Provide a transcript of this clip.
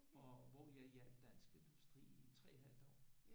Og hvor jeg hjalp dansk industri i 3 et halvt år